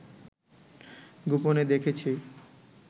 গোপনে দেখেছি